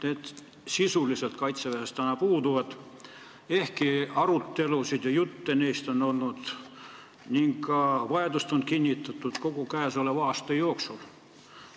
Need sisuliselt kaitseväes puuduvad, ehkki arutelusid nende üle on olnud ning nende vajadust on kinnitatud kogu käesoleva aasta jooksul.